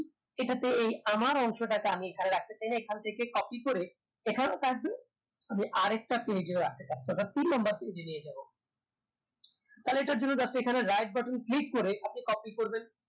এটাতে এই আমার অংশটাকে আমি এখানে রাখতে চাইনা এখন থেকে copy করে এখানেও থাকবে আমি আরেকটা page এ ও রাখতে চাচ্ছি অর্থাৎ তিন number page এ নিয়ে যাবো তাহলে এটার জন্য just এখানে right button click করে আপনি copy করবেন